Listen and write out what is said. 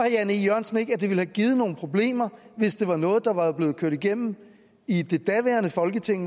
jan e jørgensen ikke at det ville have givet nogle problemer hvis det var noget der var blevet kørt igennem i det daværende folketing